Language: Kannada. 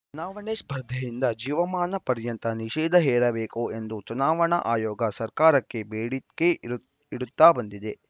ಚುನಾವಣೆ ಸ್ಪರ್ಧೆಯಿಂದ ಜೀವಮಾನ ಪರ್ಯಂತ ನಿಷೇಧ ಹೇರಬೇಕು ಎಂದು ಚುನಾವಣಾ ಆಯೋಗ ಸರ್ಕಾರಕ್ಕೆ ಬೇಡಿಕೆ ಇಡುತ್ತಾ ಬಂದಿದೆ